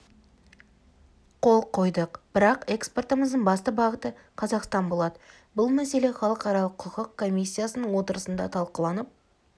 қол қойдық бірақ экспортымыздың басты бағыты қазақстан болады бұл мәселе халықаралық құқық комиссиясының отырысында талқыланып